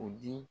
U di